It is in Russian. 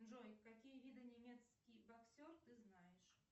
джой какие виды немецкий боксер ты знаешь